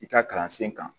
I ka kalansen kan